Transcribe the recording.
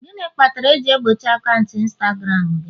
gịnị kpatara eji egbochi akaụntụ Instagram gị?